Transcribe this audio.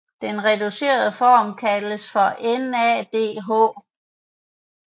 Den reducerede form af kaldes NADH